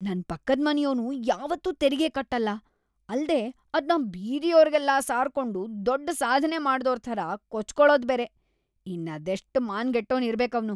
ನನ್‌ ಪಕ್ಕದ್‌ ಮನೆಯೋನು ಯಾವತ್ತೂ ತೆರಿಗೆ ಕಟ್ಟಲ್ಲ, ಅಲ್ದೇ ಅದ್ನ ಬೀದಿಯೋರ್ಗೆಲ್ಲ ಸಾರ್ಕೊಂಡು ದೊಡ್ಡ್‌ ಸಾಧ್ನೆ ಮಾಡ್ದೋರ್‌ ಥರ ಕೊಚ್ಕೊಳೋದ್‌ ಬೇರೆ.. ಇನ್ನದೆಷ್ಟ್‌ ಮಾನಗೆಟ್ಟೋನ್‌ ಇರ್ಬೇಕ್ ಅವ್ನು.